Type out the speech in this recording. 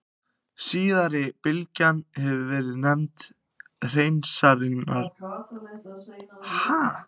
Síðari bylgjan hefur verið nefnd Hreinsanirnar miklu.